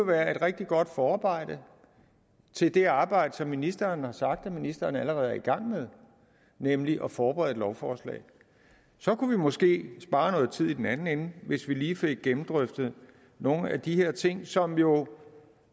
være et rigtig godt forarbejde til det arbejde som ministeren har sagt at ministeren allerede er i gang med nemlig at forberede et lovforslag så kunne vi måske spare noget tid i den anden ende hvis vi lige fik gennemdrøftet nogle af de her ting som jo